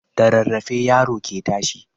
Da rarrafe yaro ke tashi